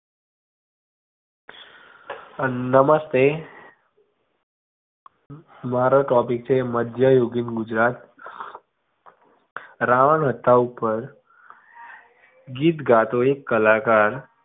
નમસ્તે મારો topic છે મધ્યયુગીન ગુજરાત રાવણહત્થા ઉપર ગીત ગાતો એક કલાકાર.